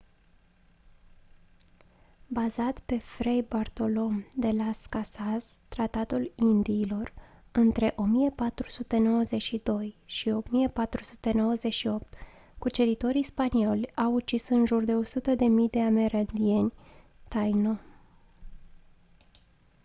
bazat pe fray bartolomé de las casas tratatul indiilor între 1492 și 1498 cuceritorii spanioli au ucis în jur de 100.000 de amerindieni taino